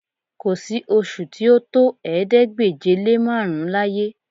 Kò sí oṣù tí ó tó ̀ẹẹ́dégbèje-lé-márùn-ún láyé